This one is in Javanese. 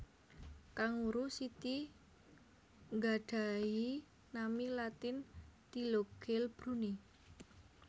Kanguru siti nggadhahi nami Latin Thylogale Brunni